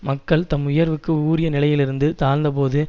மக்கள் தம் உயர்வுக்கு உரிய நிலையிலிருந்து தாழ்ந்த போது